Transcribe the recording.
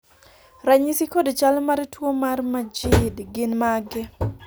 ranyisi kod chal mar tuo mar Majeed gin mage?